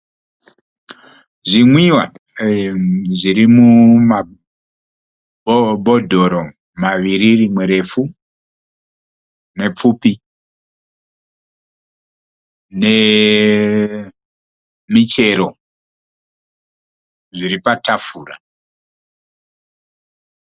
Zvimwiwa zviri mumabhodhoro maviri rimwe refu nepfupi nemichero zviri patafura.